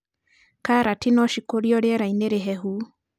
Karati no cikũrio rierainĩ rĩhehu.